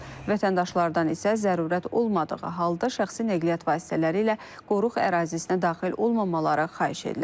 Vətəndaşlardan isə zərurət olmadığı halda şəxsi nəqliyyat vasitələri ilə qoruq ərazisinə daxil olmamaları xahiş edilir.